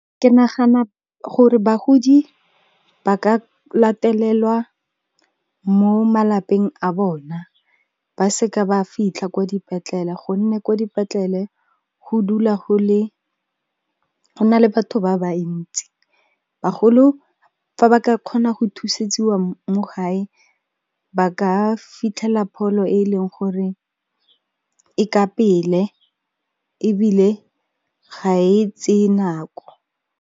Ke nagana gore bagodi ba ka latelelwa mo malapeng a bona ba se ka ba fitlha kwa dipetlela gonne kwa dipetlele, go dula go na le batho ba ba ntsi. Bagolo fa ba ka kgona go thusetsiwa mo gae ba ka fitlhela pholo e e leng gore e ka pele ebile ga e tseye nako.